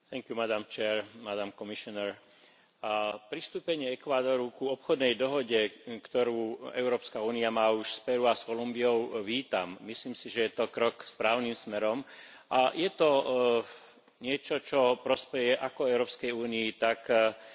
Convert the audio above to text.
Pristúpenie Ekvádoru k obchodnej dohode, ktorú Európska únia má už s Peru a Kolumbiou, vítam. Myslím si, že je to krok správnym smerom, a je to niečo, čo prospeje ako Európskej únii, tak aj tejto latinskoamerickej krajine.